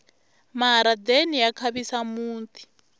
maharadeni ya khavisa muti